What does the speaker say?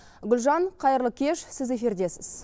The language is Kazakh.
гүлжан қайырлы кеш сіз эфирдесіз